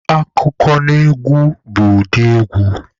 Akụkọnaegwu bụ ụdị egwu